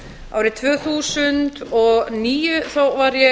árið tvö þúsund og níu þá var ég